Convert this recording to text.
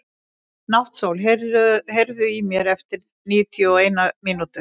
Náttsól, heyrðu í mér eftir níutíu og eina mínútur.